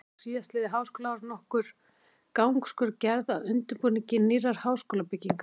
Því var síðastliðið háskólaár nokkur gangskör gerð að undirbúningi nýrrar háskólabyggingar.